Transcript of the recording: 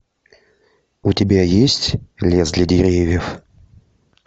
у тебя есть лес для деревьев